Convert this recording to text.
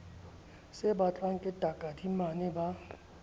se batlwang ke takadimane ba